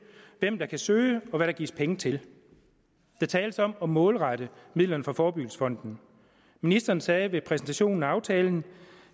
hvem der kan søge og hvad der gives penge til der tales om at målrette midlerne fra forebyggelsesfonden ministeren sagde ved præsentationen af aftalen